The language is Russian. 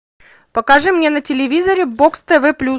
покажи мне на телевизоре бокс тв плюс